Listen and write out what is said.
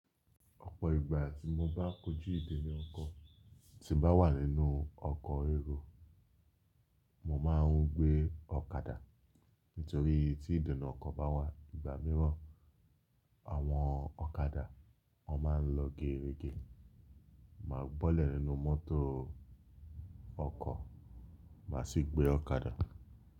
Ọ̀pọ̀ ìgbà tí mo bá kójú ìdènà ọkọ̀ tí bá wà nínú ọkọ̀ èrò, mo máa ń gbé ọ̀kadà. Nítorí tí ìdènà ọkọ̀ bá wà, ìgbà mìíràn àwọn ọ̀kadà a máa ń lọ géregé. Máa bọ́lẹ̀ nínú mọ́tò ọkọ̀, màá sì gbé ọ̀kadà.